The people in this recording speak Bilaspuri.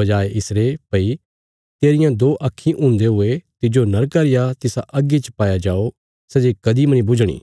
बजाये इसरे भई तेरियां दो आक्खीं हुन्दे हुये तिज्जो नरका रिया तिसा अग्गी च पाया जाओ सै जे कदीं मनी बुझणी